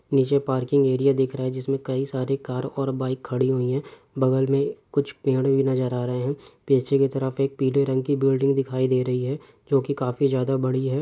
निचे parking area दिख रहा है जिसमे कई सारी कार और बाइक खड़ी हुई है बगल मैं कुछ पेड़ भी नज़र आ रहे है पीछे की तरफ एक पिले रंग की बिल्डिंग दिखाई दे रही है जो की काफी ज्यादा बड़ी है।